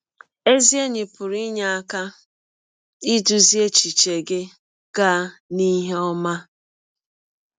Ezi enyi pụrụ inye aka idụzị echiche gị gaa n’ihe ọma.